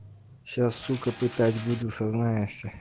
сейчас сука пытать буду сознаешься